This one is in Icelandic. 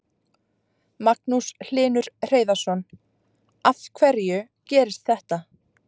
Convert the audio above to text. Magnús Hlynur Hreiðarsson: Af hverju gerist þetta?